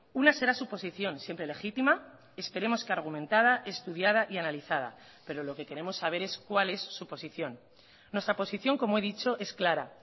una será su posición siempre legítima esperemos que argumentada estudiada y analizada pero lo que queremos saber es cuál es su posición nuestra posición como he dicho es clara